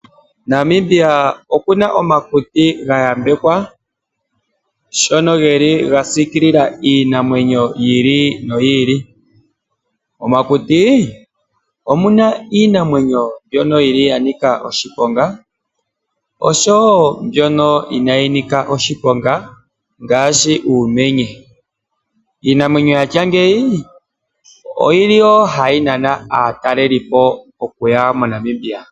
Namibia oku na omakuti ga yambekwa shono geki ga siikilila iinamwenyo yi ili noyi ili. Momakuti omuna iinamwenyo mbyono yili ya nika oshiponga oshowo mbyono inayi nika oshiponga ngaashi uumenye. Iinamwenyo ya tya ngeyi oyili wo hayi nana aatalelipo okuya moNamibia.